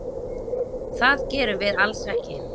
Það gerum við alls ekki.